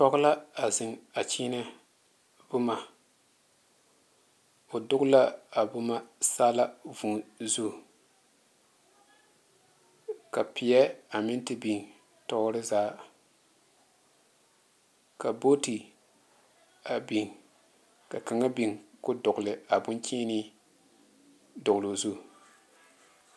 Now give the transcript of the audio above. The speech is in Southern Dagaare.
Pͻge la a zeŋe a kyeenԑ boma. O doge la a boma saala vũũ zu. Ka peԑ a meŋ te biŋ tͻͻre zaa. Ka booti a biŋ ka kaŋa biŋ koo dͻgele a boŋkyeenee dͻgeloo zu.